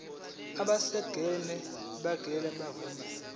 abesars ngeke bavuma